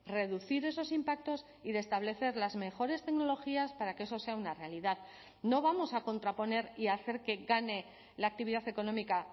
reducir esos impactos y de establecer las mejores tecnologías para que eso sea una realidad no vamos a contraponer y hacer que gane la actividad económica